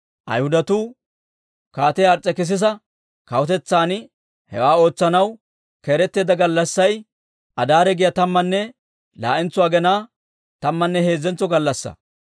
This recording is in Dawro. Ayhudatuu Kaatiyaa Ars's'ekisisa kawutetsan hewaa ootsanaw keeretteedda gallassay, Adaare giyaa tammanne laa'entso aginaa, tammanne heezzentso gallassaa.